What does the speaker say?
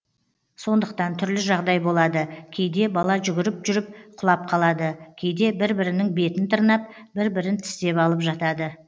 сондықтан түрлі жағдай болады кейде бала жүгіріп жүріп құлап қалады кейде бір бірінің бетін тырнап бір бірін тістеп алып жатады